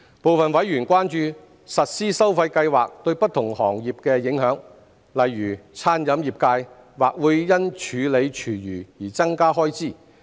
部分委員關注實施收費計劃對不同行業的影響，例如餐飲業界或會因處理廚餘而增加開支。